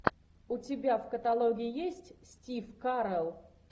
у тебя в каталоге есть стив карелл